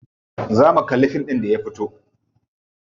Zo mu kalli fim ɗin da ya fito.